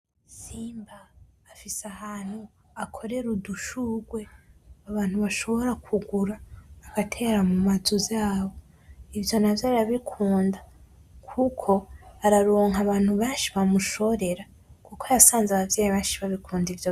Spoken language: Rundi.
Simba afise ahantu akorera udushurwe ,abantu bashobora kugura bagatera mumazu yabo ivyo navyo arabikunda kuko araronka abantu benshi bamushorera.